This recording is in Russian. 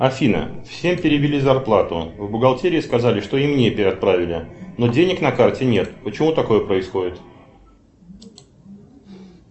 афина всем перевели зарплату в бухгалтерии сказали что и мне отправили но денег на карте нет почему такое происходит